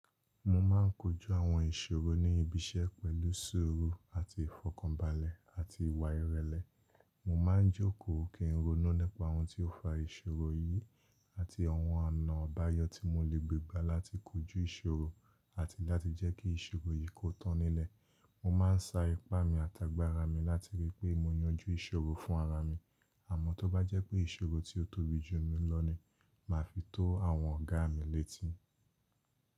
Mo máa ń kojú àwọn ìṣòro ní ìbíṣẹ́ pẹ̀lú ṣuru àti ìfòkànbálẹ̀ àti ìwà ìrẹlẹ́. Mo máa ń jókòó kí ń ronú nipa ohun tí ó fa ìṣòro yìí àti àwọn ọ̀nà ọ̀báyọ́ tí mo lè gbé gbá láti kojú ìṣòro àti láti jẹ́ kí ìṣòro yìí kó tán nílẹ̀. Mo máa ń sa ipá mi àtàgbára mi láti rí pé mo yanjú ìṣòro fún ara mi, àmọ́ tó bá jẹ́ pé ìṣòro tí ó tóbi jù mí lọ ni, màá fi tó àwọn ọ̀gá mi létì.